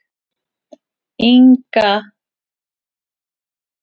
Ina, spilaðu lagið „Minnismerki“.